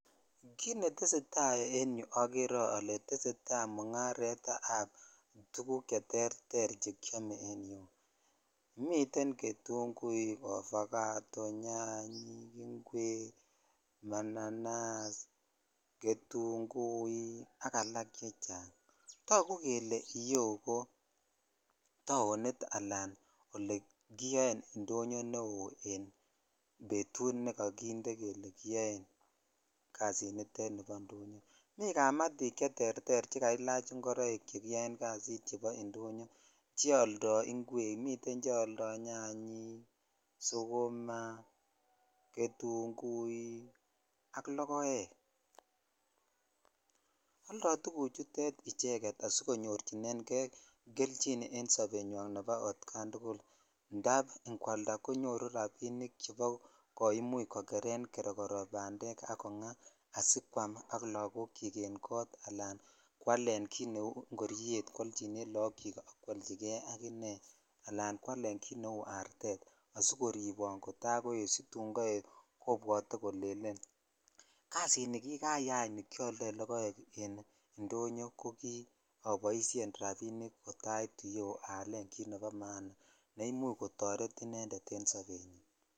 Kit netesetai en yuu okeree ole tesetai mungaret ab tuguk che terter chekiome miten ketunguyot, ovacado ,nyanyik ,ingwek ,mananas, ketnguik ak alak chechang tagu kele iyeu ko taonit ala ole kiyon indonyoo neo nekokinde betut ne kiyoen kasiniton bo indonyoo mi kamatik che terter che jalach ingorok cheterter cheoldo ingwek miten cheoldo nyanyik ,sukuma ,ketunguik ak lokoek oldo tuguchutet icheket asikonyorchinen keibkelyin en sabenywan nebo otkan tugul indap ikwalda konyoru rabinikche imuch kokeren bandek kerekoro bandek ak kongaa asikwam ak lokok chik en kot ala kwalen kit nebo kou ingoryet lokok ak kwolchi kei ak inei ala kwalen kit neu artet asikoribon kotakoet kobwotee kole kasinikikaya nikibo indonyoo koboishen rabinik kot aitu yuu aalen kit nebo maana ne I.uch kotoret intended en sobenyin.